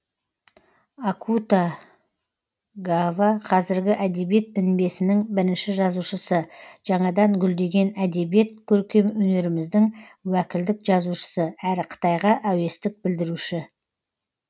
акута гава қазіргі әдебиет мінбесінің бірінші жазушысы жаңадан гүлдеген әдебиет көркем өнеріміздің уәкілдік жазушысы әрі қытайға әуестік білдіруші